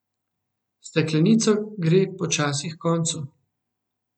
Steklenica gre počasi h koncu.